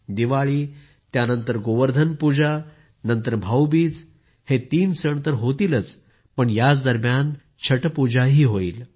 दिवाळी त्यानंतर गोवर्धन पूजा नंतर भाऊबीज हे तीन सण तर होतीलच पण याच दरम्यान छटपूजाही होईल